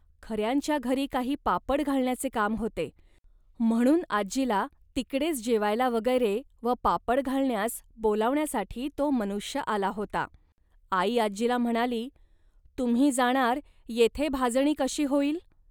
खऱ्यांच्या घरी काही पापड घालण्याचे काम होते, म्हणून आजीला तिकडेच जेवायला वगैरे व पापड घालण्यास बोलावण्यासाठी तो मनुष्य आला होता. आई आजीला म्हणाली, "तुम्ही जाणार, येथे भाजणी कशी होईल